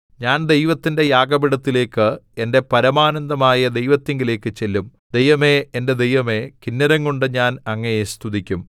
ഞാൻ ദൈവത്തിന്റെ യാഗപീഠത്തിലേക്ക് എന്റെ പരമാനന്ദമായ ദൈവത്തിങ്കലേക്ക് ചെല്ലും ദൈവമേ എന്റെ ദൈവമേ കിന്നരം കൊണ്ട് ഞാൻ അങ്ങയെ സ്തുതിക്കും